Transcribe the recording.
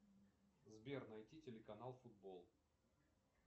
сбер найти телеканал футбол